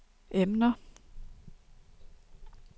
emner